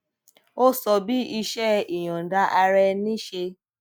ó sọ bí iṣé ìyòǹda ara ẹni ṣe